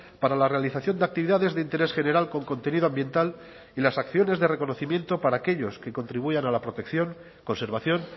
para la realización de actividades de interés general con contenido ambiental y las acciones de reconocimiento para aquellos que contribuyan a la protección conservación